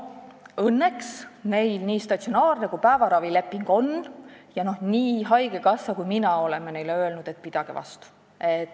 Õnneks on neil nii statsionaarse ravi kui päevaravi leping ja nii haigekassa kui mina oleme neile öelnud, et pidage vastu.